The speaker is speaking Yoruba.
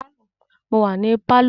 Mo wà ní pálọ̀